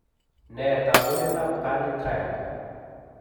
Nee taakunetaab Carney triad?